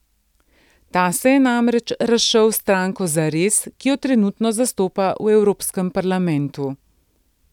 Ta se je namreč razšel s stranko Zares, ki jo trenutno zastopa v Evropskem parlamentu.